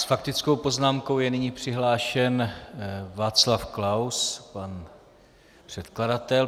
S faktickou poznámkou je nyní přihlášen Václav Klaus, pan předkladatel.